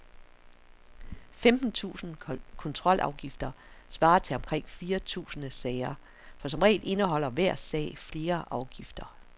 Femten tusinde kontrolafgifter svarer til omkring fire tusinde sager, for som regel indeholder hver sag flere afgifter.